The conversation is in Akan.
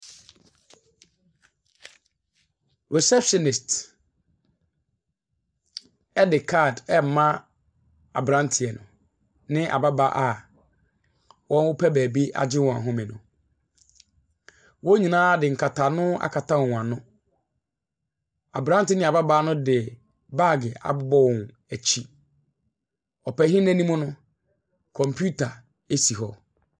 Receptionist ɛde card ɛrema aberanteɛ ne ababaawa a wɔpɛ beebi agye wɔn ahome no. Wɔn nyinaa nkataano akata wɔn ano. Aberɛnte ne ababaawa no de baage abobɔ wɔn akyi. Ɔpanin n’anim no, kɔmpita asi hɔ.